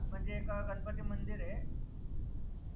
म्हनजे एक गनपती मंदिर ए